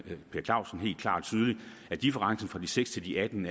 per clausen helt klart og tydeligt at differencen fra de seks til de atten